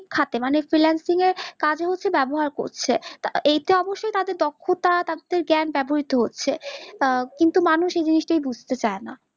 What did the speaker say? খাতে মানে freelancing এর কাজে ব্যাবহার করছে, এতে অবশ্যই তাদের দক্ষতা তাদের জ্ঞান ব্যাবহ্‌ত হচ্ছে, কিন্তু মানুষ এই জিনিস টাই বুঝতে চাইনা